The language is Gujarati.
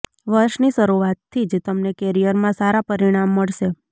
વર્ષની શરૂઆતથી જ તમને કેરિયરમાં સારા પરિણામ મળશે